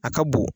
A ka bon